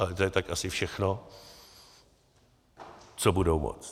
Ale to je tak asi všechno, co budou moct.